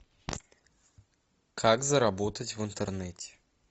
как заработать в интернете